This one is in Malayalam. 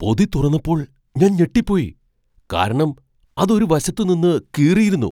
പൊതി തുറന്നപ്പോൾ ഞാൻ ഞെട്ടിപ്പോയി ,കാരണം അത് ഒരു വശത്ത് നിന്ന് കീറിയിരുന്നു !